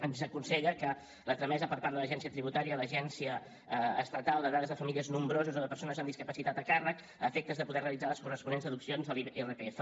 ens aconsella la tramesa per part de l’agència tributària a l’agència estatal de dades de famílies nombroses o de persones amb discapacitats a càrrec a efectes de poder realitzar les corresponents deduccions de l’irpf